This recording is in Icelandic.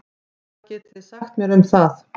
Hvað getið þið sagt mér um það?